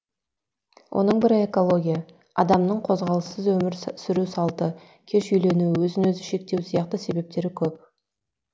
оның бірі экология адамның қозғалыссыз өмір сүру салты кеш үйлену өзін өзі шектеу сияқты себептері көп